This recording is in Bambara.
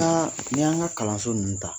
a n'i y'an ka kalanso ninnu ta